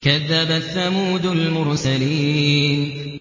كَذَّبَتْ ثَمُودُ الْمُرْسَلِينَ